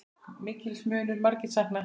Mikils munu margir sakna.